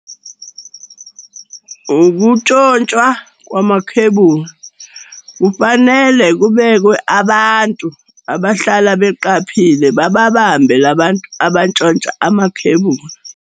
Ukuntshontshwa kwamakhebuli. Kufanele kubekwe abantu abahlala beqaphile, bababambe la bantu abatshontsha amakhebuli.